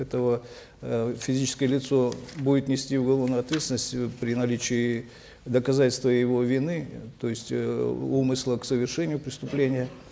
этого э физическое лицо будет нести уголовную ответственность э при наличии доказательства его вины то есть э умысла к совершению преступления